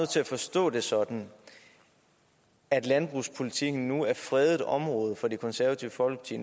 til at forstå det sådan at landbrugspolitikken nu er fredet område for det konservative folkeparti